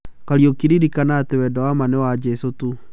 Kariũki ririkana atĩ wendo wa maa no wa Jeso tu .